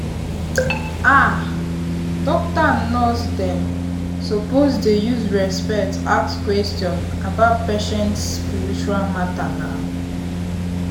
ah doctor and and nurse dem suppose dey use respect ask question about patient spiritual matter nau.